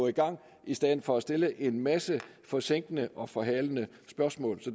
i gang i stedet for at der stilles en masse forsinkende og forhalende spørgsmål